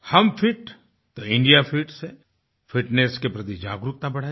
हम फिट तो India fit से फिटनेस के प्रति जागरूकताबढ़ाई